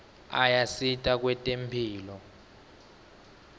ayasita kwetemphilo